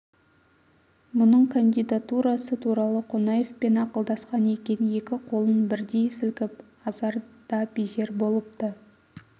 мұның кандидатурасы туралы қонаевпен ақылдасқан екен екі қолын бірдей сілкіп азар да безер болыпты